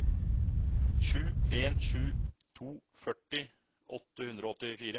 sju en sju to førti åtte hundre og åttifire